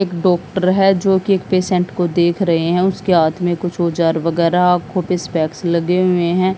एक डॉक्टर है जो कि एक पेशेंट को देख रहे हैं उसके हाथ में कुछ औजार वगैरह आंखों पे स्पेक्स लगे हुए हैं।